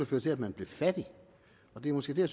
føre til at man bliver fattig og det er måske det